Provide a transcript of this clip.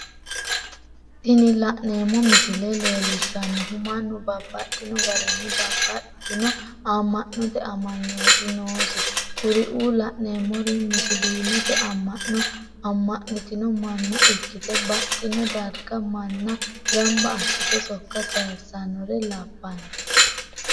Tini la'neemo misile leellishanohu mannu babaxxino garinni babaxitino ama'note amanyooti noosi kuriuu la'neemori musilimete ama'no ama'nitino mana ikkite baxino dariga mana gamba asite sokka sayisanore labano